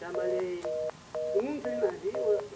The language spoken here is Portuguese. Trabalhei em muitos navio o